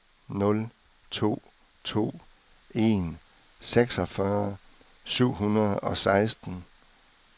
nul to to en seksogfyrre syv hundrede og seksten